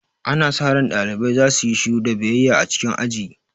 Ana sa ran ɗalibai su yi shiru da biyayya a cikin aji.